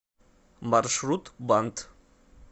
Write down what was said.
маршрут бант